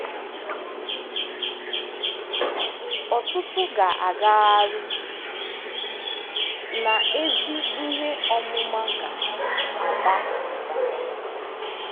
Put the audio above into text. Ọtụtụ ga-agagharị, na ezi ihe ọmụma ga-aba ụba.